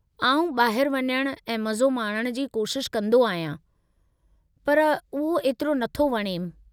आउं ॿाहिरि वञणु ऐं मज़ो माणण जी कोशिशि कंदो आहियां, पर उहो एतिरो नथो वणेमि।